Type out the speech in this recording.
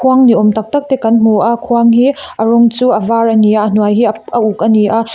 khuang ni awm tak tak te kan hmu a khuang hi a rawng chu a var a ni a a hnuai hi a uk a ni a.